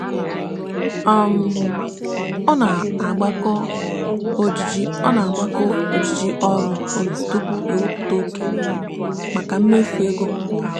um ọ na-agbakọ ojiji ọ na-agbakọ ojiji ọrụ ụlọ tupu o wepụta oke maka mmefu ego kwa ọnwa. um